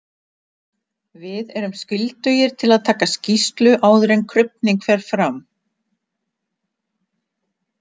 Við erum skyldugir til að taka skýrslu áður en krufning fer fram.